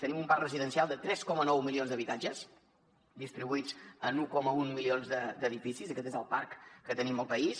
tenim un parc residencial de tres coma nou milions d’habitatges distribuïts en un coma un milions d’edificis i aquest és el parc que tenim al país